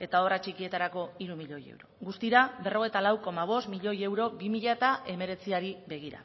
eta obra txikietarako hiru miloi euro guztira berrogeita lau koma bost miloi euro bi mila hemeretziari begira